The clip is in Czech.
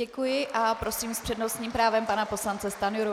Děkuji a prosím s přednostním právem pana poslance Stanjuru.